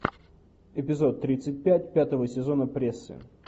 эпизод тридцать пять пятого сезона прессы